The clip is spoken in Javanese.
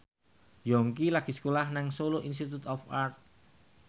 Yongki lagi sekolah nang Solo Institute of Art